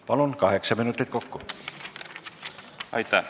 Palun, kaheksa minutit kokku!